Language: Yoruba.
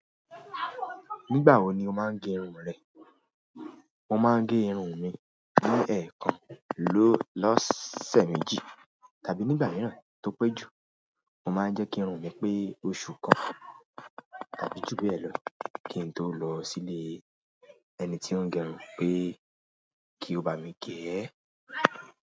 Nígbà wo ni o máa ń gẹ irun rẹ? Mo máa ń gẹ irun mi ni ẹ̀kan lọ́sẹ̀ méjì tàbí nígbà mìíràn tó pé jù. Mo máa ń jẹ́ kí irun mi pé oṣù kan tàbí ju bẹ́ẹ̀ lọ kí n tó lọ síle ẹni tí ó ń gẹ irun pé kí ó bá mi gẹ̀ẹ́.